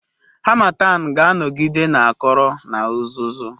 Harmattan ga-anọgide na-akọrọ na uzuzu.